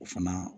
O fana